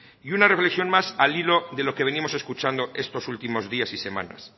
y una reflexión más al hilo de lo que venimos escuchando estos últimos días y semanas